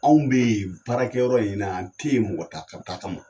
Anw be baarakɛ yɔrɔ in na an te yen mɔgɔ ta ka taa kama.